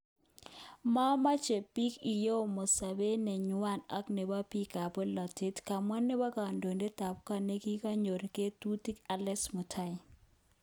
Momoche bik ikoyomo sobet nenywan ak nebo bik kap bolotet, kamwa nebo kondoidet tabkot nekingoten ngotutik Alexis Mutai.